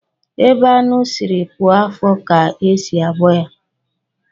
Ebe anụ sịrị puo afọ ka e si abọ ya